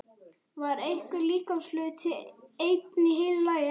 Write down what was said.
Var einhver líkamshluti enn í heilu lagi?